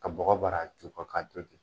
Ka bɔgɔ bara ju kɔ k'a to ten